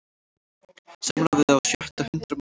Samráð við á sjötta hundrað manns